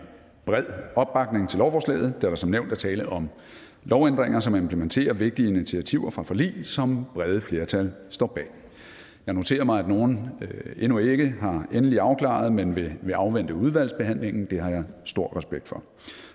bred opbakning til lovforslaget da der som nævnt er tale om lovændringer som implementerer vigtige initiativer fra forlig som brede flertal står bag jeg noterer mig at nogle endnu ikke er endelig afklaret men vil afvente udvalgsbehandlingen og det har jeg stor respekt for